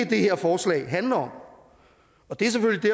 det her forslag handler om og det er selvfølgelig